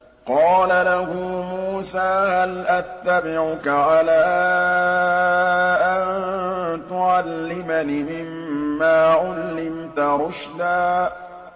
قَالَ لَهُ مُوسَىٰ هَلْ أَتَّبِعُكَ عَلَىٰ أَن تُعَلِّمَنِ مِمَّا عُلِّمْتَ رُشْدًا